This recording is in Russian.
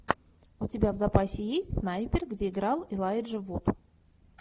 у тебя в запасе есть снайпер где играл элайджа вуд